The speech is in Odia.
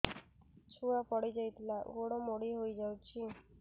ଛୁଆ ପଡିଯାଇଥିଲା ଗୋଡ ମୋଡ଼ି ହୋଇଯାଇଛି